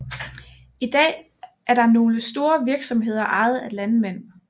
I dag er der nogle store virksomheder ejet af landmænd